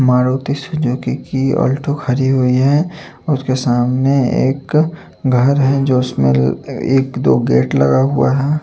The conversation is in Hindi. मारुती सुजुकी की अल्टो खड़ी हुई है उसके सामने एक घर है जो उसमें एक दो गेट लगा हुआ है।